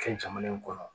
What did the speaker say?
Fɛn caman kɔnɔ